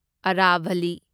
ꯑꯔꯥꯚꯂꯤ